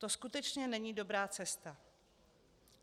To skutečně není dobrá cesta.